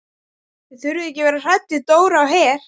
Þið þurfið ekki að vera hrædd við Dóra á Her.